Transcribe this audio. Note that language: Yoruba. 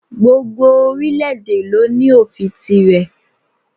Gbogbo orílẹ̀ èdè lo ní òfin tirẹ̀